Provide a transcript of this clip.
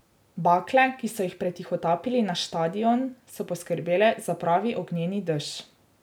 Bakle, ki so jih pretihotapili na štadion, so poskrbele za pravi ognjeni dež.